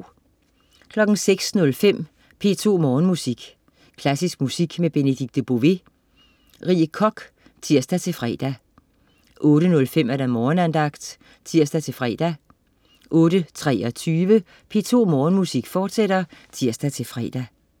06.05 P2 Morgenmusik. Klassisk musik med Benedikte Bové/Rie Koch (tirs-fre) 08.05 Morgenandagten (tirs-fre) 08.23 P2 Morgenmusik, fortsat (tirs-fre)